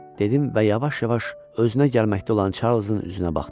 Dedim və yavaş-yavaş özünə gəlməkdə olan Çarlzın üzünə baxdım.